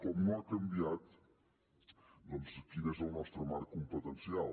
com no ha canviat doncs quin és el nostre marc competencial